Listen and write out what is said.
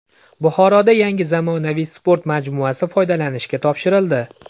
Buxoroda yangi zamonaviy sport majmuasi foydalanishga topshirildi.